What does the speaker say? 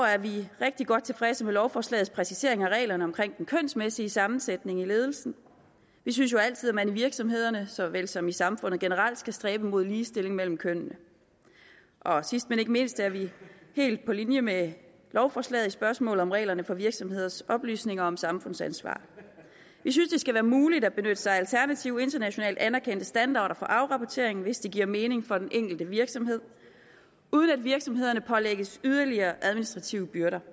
er vi rigtig godt tilfredse med lovforslagets præcisering af reglerne omkring den kønsmæssige sammensætning i ledelsen vi synes jo altid at man i virksomhederne så vel som i samfundet generelt skal stræbe mod ligestilling mellem kønnene sidst men ikke mindst er vi helt på linje med lovforslaget i spørgsmålet om reglerne for virksomheders oplysninger om samfundsansvar vi synes det skal være muligt at benytte sig af alternative internationalt anerkendte standarder for afrapporteringen hvis det giver mening for den enkelte virksomhed uden at virksomhederne pålægges yderligere administrative byrder